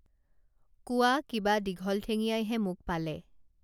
কোৱা কিবা দীঘল ঠেঙীয়াইহে মোক পালে